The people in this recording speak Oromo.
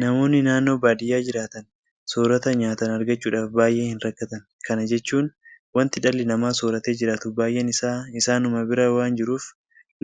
Namoonni naannoo baadiyyaa jiraatan soorrata nyaatan argachuudhaaf baay'ee hinrakkatan .Kana jechuun waanti dhalli namaa soorratee jiraatu baay'een isaa isaanuma bira waanta jiruuf